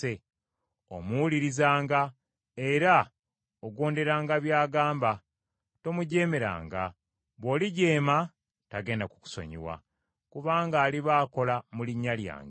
Omuwulirizanga, era ogonderanga by’agamba. Tomujeemeranga; bw’olijeema tagenda kukusonyiwa, kubanga aliba akola mu Linnya lyange.